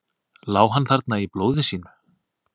Lá hann þarna í blóði sínu?